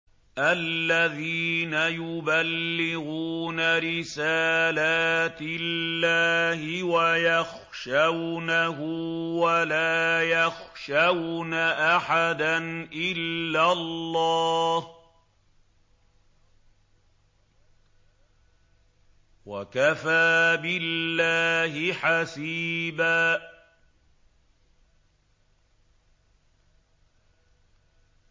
الَّذِينَ يُبَلِّغُونَ رِسَالَاتِ اللَّهِ وَيَخْشَوْنَهُ وَلَا يَخْشَوْنَ أَحَدًا إِلَّا اللَّهَ ۗ وَكَفَىٰ بِاللَّهِ حَسِيبًا